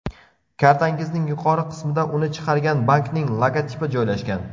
Kartangizning yuqori qismida uni chiqargan bankning logotipi joylashgan.